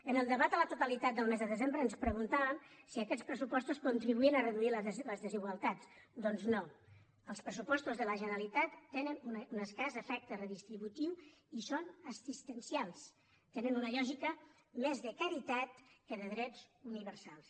en el debat a la totalitat del mes de desembre ens preguntàvem si aquests pressupostos contribuïen a reduir les desigualtats doncs no els pressupostos de la generalitat tenen un escàs efecte redistributiu i són assistencials tenen una lògica més de caritat que de drets universals